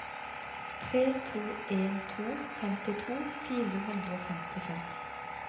tre to en to femtito fire hundre og femtifem